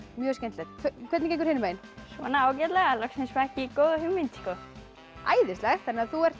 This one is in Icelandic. mjög skemmtilegt hvernig gengur hinum megin ágætlega loksins fékk ég góða hugmynd æðislegt þú ert